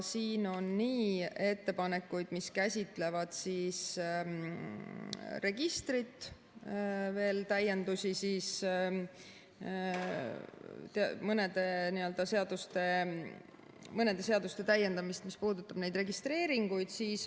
Siin on ettepanekuid, mis käsitlevad registrit, veel mõnede seaduste täiendamist, mis puudutab neid registreeringuid.